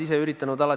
Mis siuh-säuh!